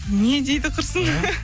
не дейді құрсын